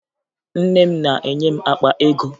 Nne m na-enye m akpa ego